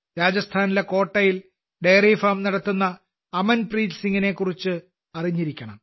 രാജസ്ഥാനിലെ കോട്ടയിൽ ഡെയറിഫാം നടത്തുന്ന അമൻപ്രീത് സിംഗിനെക്കുറിച്ചും നിങ്ങൾ അറിഞ്ഞിരിക്കണം